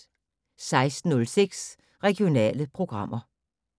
16:06: Regionale programmer